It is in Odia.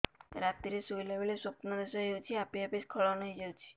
ରାତିରେ ଶୋଇଲା ବେଳେ ସ୍ବପ୍ନ ଦୋଷ ହେଉଛି ଆପେ ଆପେ ସ୍ଖଳନ ହେଇଯାଉଛି